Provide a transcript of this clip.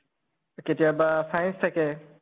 কেতিয়াবা science থাকে